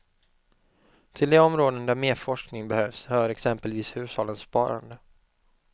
Till de områden där mer forskning behövs hör exempelvis hushållens sparande.